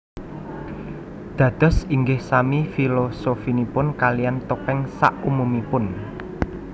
Dados ingih sami filosofinipun kalian topeng sak umumipun